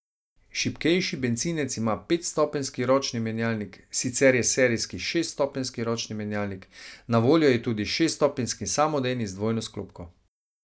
Šibkejši bencinec ima petstopenjski ročni menjalnik, sicer je serijski šeststopenjski ročni menjalnik, na voljo je tudi šeststopenjski samodejni z dvojno sklopko.